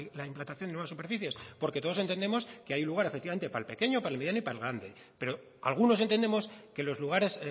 la implantación de nuevas superficies porque todos entendemos que hay un lugar efectivamente para el pequeño para el mediano y para el grande pero algunos entendemos que los lugares